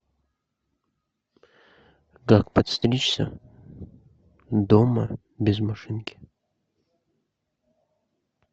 как подстричься дома без машинки